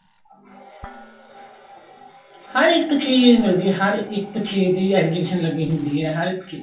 ਹਰ ਇੱਕ ਚੀਜ਼ ਮਿਲਦੀ ਏ ਹਰ ਇੱਕ ਚੀਜ਼ ਦੀ exhibition ਲੱਗੀ ਹੁੰਦੀ ਏ ਹਰ ਇੱਕ ਚੀਜ਼